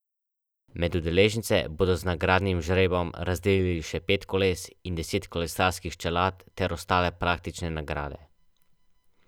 Med dejavnostmi, ki bodo preseljene na druge lokacije, so zdravstveno varstvo odraslih, zobozdravstveno varstvo otrok in mladine in zobozdravstveno varstvo odraslih.